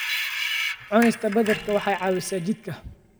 Cunista badarka waxay caawisaa jidhka.